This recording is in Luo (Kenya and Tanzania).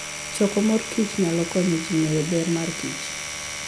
Choko mor kich nyalo konyo ji ng'eyo ber mar kich